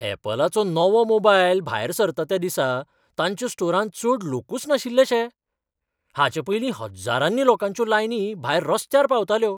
अॅपलाचो नवो मोबायल भायर सरता त्या दिसा तांच्या स्टोरांत चड लोकूच नाशिल्ले शे? हाचेपयलीं हज्जारांनी लोकांच्यो लायनी भायर रस्त्यार पावताल्यो.